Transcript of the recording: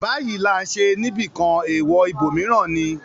‘‘Báyìí là ń ṣe’’ níbìkan, èèwọ̀ ibòmíràn ni.